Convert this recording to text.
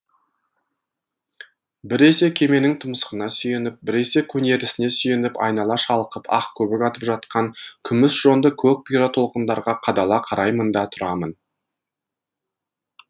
біресе кеменің тұмсығына сүйеніп біресе көнересіне сүйеніп айнала шалқып ақ көбік атып жатқан күміс жонды көк бұйра толқындарға қадала қараймын да тұрамын